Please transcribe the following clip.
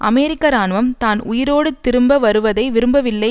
அமெரிக்க இராணுவம் தான் உயிரோடு திரும்ப வருவதை விரும்பவில்லை